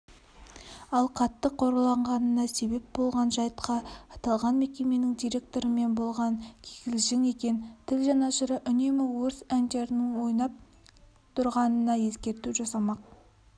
ал қатты қорланғанына себеп болған жайтқа аталған мекеменің директорымен болған кикілжің екен тіл жанашыры үнемі орыс әндерінің ойнап тұрғанына ескерту жасамақ